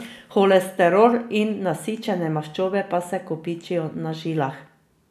Holesterol in nasičene maščobe pa se kopičijo na žilah.